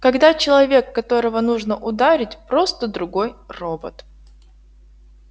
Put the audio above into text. когда человек которого нужно ударить просто другой робот